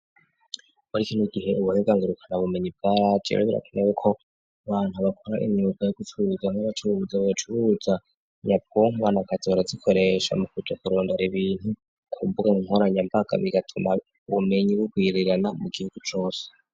Muriki n'igihe ubunegangurukana bumenyi bwargerrafnewe ko bantu bakora inyuba yo gusuruza n'abacuruza bacuruza nyapunga nakazora zikoresha mu kuja kurondra ibintu kumbugan inkoranyambaga bigatuma ubumenyi bwo guirirana mu gihugo cose.